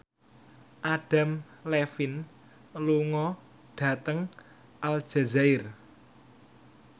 Adam Levine lunga dhateng Aljazair